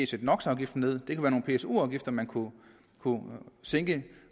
sætte nox afgiften ned det kunne pso afgifter man kunne sænke